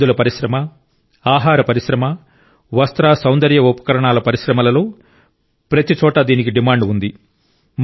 మందుల పరిశ్రమ ఆహార పరిశ్రమ వస్త్ర సౌందర్య ఉపకరణాల పరిశ్రమలలో ప్రతిచోటా దీనికి డిమాండ్ ఉంది